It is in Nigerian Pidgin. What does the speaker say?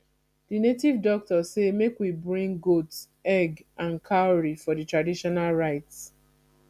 the native doctor say make we bring goat egg and cowry for the traditional rites